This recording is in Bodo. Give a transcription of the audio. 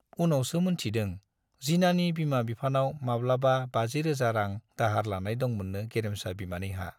उनावसो मोनथिदों जिनानि बिमा बिफानाव माब्लाबा बाजि रोजा रां दाहार लानाय दंमोननो गेरेमसा बिमानैहा।